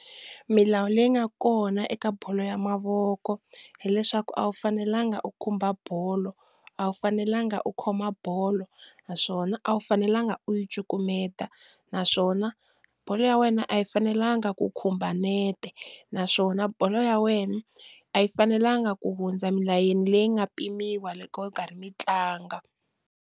Milawu leyi nga kona eka bolo ya mavoko hileswaku a wu fanelanga u khumba bolo, a wu fanelanga u khoma bolo naswona a wu fanelanga u yi cukumeta, naswona bolo ya wena a yi fanelanga ku khumba nete naswona bolo ya wena a yi fanelanga ku hundza milayeni leyi nga pimiwa loko mi karhi mi tlanga.